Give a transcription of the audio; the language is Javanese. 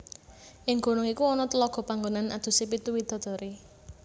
Ing gunung iku ana tlaga panggonan adusé pitu widadari